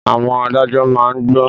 Àwọn adájọ́ má ń gbọ́n